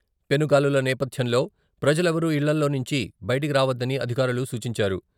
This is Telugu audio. పెనుగాలుల నేపథ్యంలో ప్రజలెవరూ ఇళ్లలోంచి బయటకు రావద్దని అధికారులు సూచించారు.